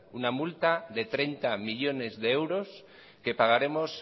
una multa de treinta millónes de euros que pagaremos